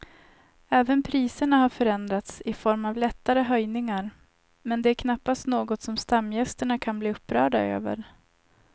Även priserna har förändrats i form av lättare höjningar men det är knappast något som stamgästerna kan bli upprörda över.